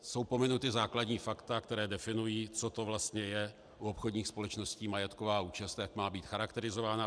Jsou pominuta základní fakta, která definují, co to vlastně je u obchodních společností majetková účast, jak má být charakterizována.